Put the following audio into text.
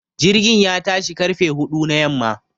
Jirgin ya tashi ƙarfe huɗu na yamma.